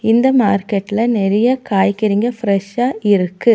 இந்த மார்க்கெட்ல நெறைய காய்கறிங்க ஃபிரெஷ்ஷா இருக்கு.